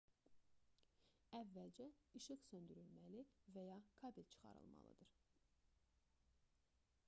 əvvəlcə işıq söndürülməli və ya kabel çıxarılmalıdır